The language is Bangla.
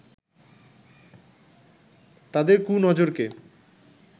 তাদের 'কুনজর'কে